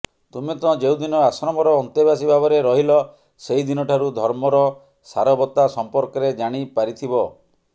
ତୁମେ ତ ଯେଉଁଦିନ ଆଶ୍ରମର ଅନ୍ତେବାସୀ ଭାବରେ ରହିଲ ସେହିଦିନଠାରୁ ଧର୍ମର ସାରବତ୍ତା ସମ୍ପର୍କରେ ଜାଣି ପାରିଥିବ